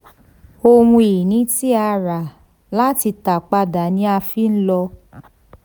ohun ìní tí a rà láti tà padà ni a fi lò.